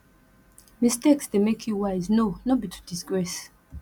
mistakes de make you wise no no be to disgrace